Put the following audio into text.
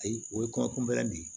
Ayi o ye kuma kunbɛ de ye